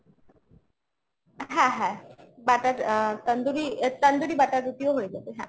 হ্যাঁ হ্যাঁ butter আ তান্দুরি, তান্দুরি butter রুটিও হয়ে যাবে হ্যাঁ।